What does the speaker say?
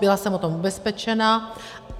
Byla jsem o tom ubezpečena.